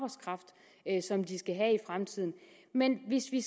at som de skal have i fremtiden men hvis vi